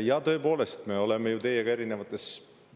Jaa, tõepoolest, me oleme ju teiega erinevates